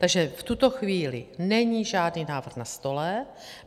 Takže v tuto chvíli není žádný návrh na stole.